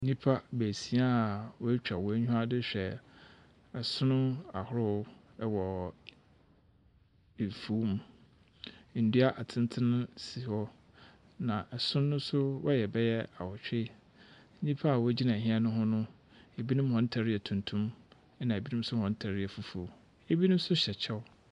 Nnipa baasia a w'atwa w'enyiwa dehwɛ esono ahorow ɛwɔ afuw mu. Nnua atenten si hɔ na ɛson no so wɔyɛ bɛyɛ awotwe. Nnipa a wogyina ɛhɛn no ho no, ebinom wɔn ntare yɛ tuntum na ebi nso yɛ fufuw. Ebinom nso hyɛ kyɛw.